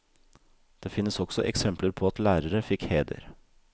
Det finnes også eksempler på at lærere fikk heder.